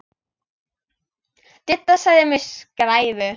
Didda sagði mig skræfu.